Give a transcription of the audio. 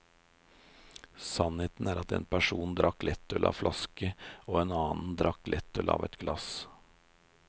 Sannheten er at en person drakk lettøl av en flaske og en annen drakk lettøl av ett glass.